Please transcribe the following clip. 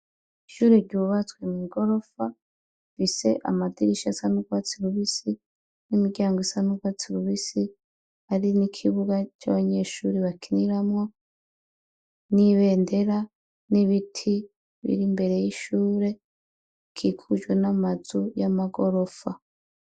Ishuri ry’ubatswe mw’igorofa, rifise amadirisha asa n’urwatsi rubisi, n’imiryango isa n’urwatsi rubisi, hari n’ikibuga c’abanyeshure bakiniramwo, n’ibendera, n’ibiti bir’imbere y’ishure ,bikikujwe n’amazu y’amagorofa.